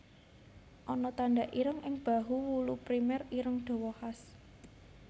Ana tanda ireng ing bahu wulu primer ireng dawa khas